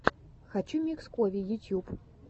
хочу микс кови ютьюб